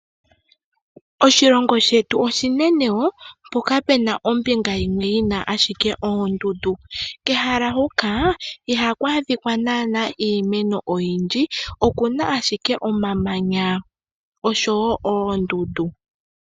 Oshilongo shetu oshinene woo mpoka pena ombinga yimwe yina shike oondundu. Pehala hoka ihaku adhika nana iimeno oyindji okuna ashike omamanya osho woo oondundu.